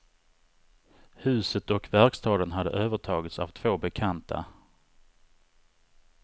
Huset och verkstaden hade övertagits av två bekanta.